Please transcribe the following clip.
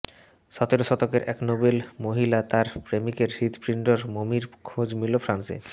সাতেরো শতকের এক নোবেল মহিলা ও তাঁর প্রেমিকের হৃদপিণ্ডর মমির খোঁজ মিলল ফ্রান্সে